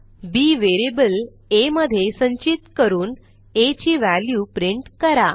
बी variable आ मधे संचित करून आ ची व्हॅल्यू प्रिंट करा